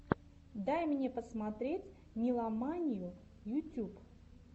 дай мне посмотреть нила манию ютюб